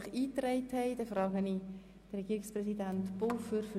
Damit hat Herr Regierungspräsident Pulver das Wort.